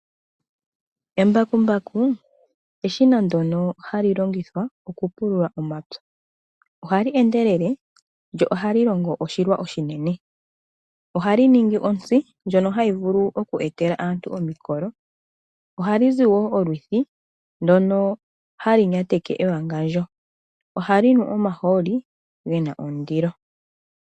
Embakumbaku eshina ndono hali longithwa okupulula omapya. Ohali endelele, lyo ohali longo oshilwa oshinene. Ohali ningi ontsi ndyono hayi vulu oku etela aantu omikolo. Ohali zi wo olwithi, ndoks halu nyateke ewangandjo. Ohali nu omahooli, ngono gena ondilo.